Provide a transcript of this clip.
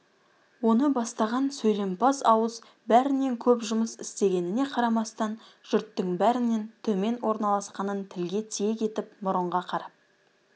оны бастаған сөйлемпаз ауыз бәрінен көп жұмыс істегеніне қарамастан жұрттың бәрінен төмен орналасқанын тілге тиек етіп мұрынға қарап